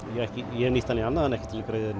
ég hef nýtt hann í annað en ekki til að greiða